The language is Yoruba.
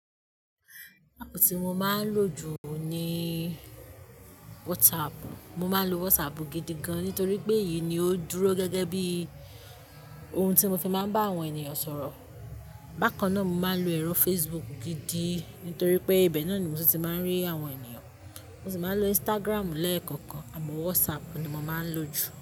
Ápp tí mo máa ń lò jù ní WhatsApp. Mo máa ń lo WhatsApp gidi gan, nítorí pé èyí ni ó dúró gẹ́gẹ́ bí ohun tí mo fi máa ń bá àwọn ènìyàn sọ̀rọ̀. Bákan náà mo máa ń lo ẹ̀rọ Facebook gidi, nítorí pé ibẹ̀ náà ni mo ti máa ń rí àwọn ènìyàn. Mo sì máa ń lo Instagram lẹ́ẹ̀kọ̀kan, àmọ́ WhatsApp ni mo máa ń lò jù.